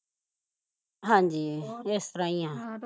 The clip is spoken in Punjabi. ਹਾਂਜੀ ਅਹ ਏਸ ਤਰਾਂ ਈ ਆ